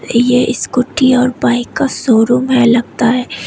ये स्कूटी और बाइक का शोरूम है लगता है।